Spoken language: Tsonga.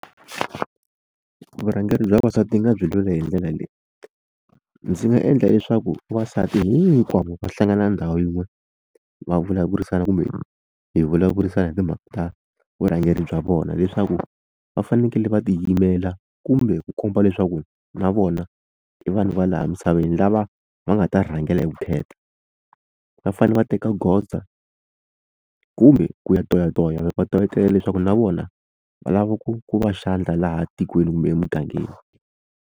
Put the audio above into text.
Vurhangeri bya vavasati ni nga byi lwela hi ndlela leyi ndzi nga endla leswaku vavasati hinkwavo va hlangana ndhawu yin'we va vulavurisana kumbe hi vulavurisana hi timhaka ta vurhangeri bya vona leswaku va fanekele va tiyimela kumbe ku komba leswaku na vona i vanhu va laha misaveni lava va nga ta rhangela hi vukheta va fanele va teka goza kumbe ku ya toyatoya va toyatoyela leswaku na vona va lava ku ku va xandla laha tikweni kumbe emugangeni.